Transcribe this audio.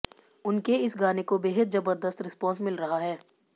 उनके इस गाने को बेहद जबरदस्त रिस्पॉन्स मिल रहा है